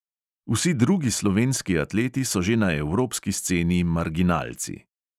Vsi drugi slovenski atleti so že na evropski sceni marginalci.